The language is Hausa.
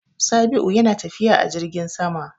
Sabi'u yana tafiya a jirgin sama.